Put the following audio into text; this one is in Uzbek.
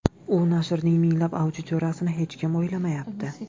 U nashrning minglab auditoriyasini hech kim o‘ylamayapti”.